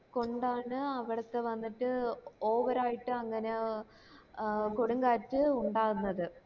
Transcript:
കൊണ്ടാണ് അവിടത്തെ വന്നിട്ട് over ആയിട്ട് അങ്ങന ആഹ് കൊടുംകാറ്റ് ഇണ്ടാകുന്നത്